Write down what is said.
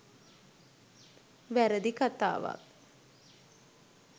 වැරදි කථාවක්.